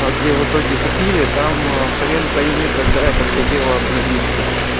а где в итоге купили там хрен пойми когда это все дело обновится